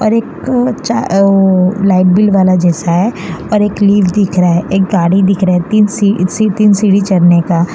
और एक यो लाइट बिल वाला जैसा है और एक लीव दिख रहा है। एक गाड़ी दिख रहा है। तीन सीढ़ी चढ़ने का --